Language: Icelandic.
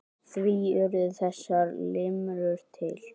Því urðu þessar limrur til.